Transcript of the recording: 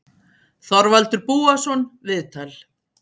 Þorvaldur Búason, viðtal